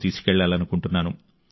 తీసుకెళ్లాలనుకుంటున్నాను